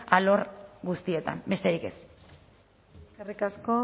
alor guztietan besterik ez eskerrik asko